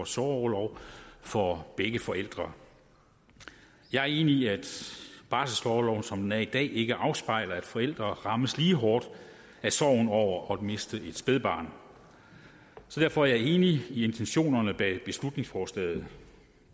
sorgorlov for begge forældre jeg er enig i at barselsorloven som den er i dag ikke afspejler at forældre rammes lige hårdt af sorgen over at miste et spædbarn derfor er jeg enig i intentionerne bag beslutningsforslaget